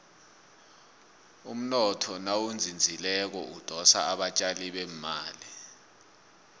umnotho nawuzinzileko udosa abatjali bemali